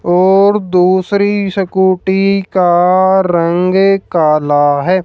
और दूसरी स्कूटी का रंग काला है।